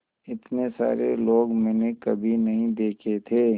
इतने सारे लोग मैंने कभी नहीं देखे थे